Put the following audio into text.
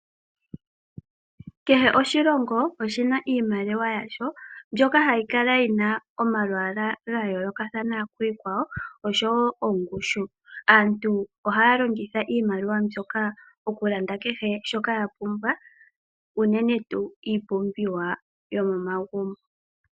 Kehe oshilongo oshina iimaliwa yasho mbyoka hayi kala yina omalwaala ga yooloka kiikwawo osho woo ongushu. Aantu ohaya longitha iimaliwa mbyoka oku landa kehe shoka yapumbwa unene tuu iipumbiwa yomomagumbo.